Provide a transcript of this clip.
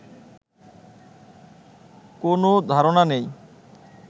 কোনও ধারণা নেই